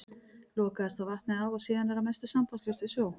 Lokaðist þá vatnið af og er síðan að mestu sambandslaust við sjó.